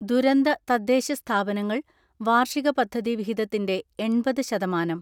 ദുരന്ത തദ്ദേശസ്ഥാപനങ്ങൾ വാർഷിക പദ്ധതി വിഹിതത്തിന്റെ എൺപത് ശതമാനം